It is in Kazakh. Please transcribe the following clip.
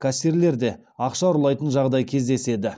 кассирлер де ақша ұрлайтын жағдай кездеседі